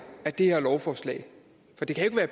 af det her lovforslag for det kan jo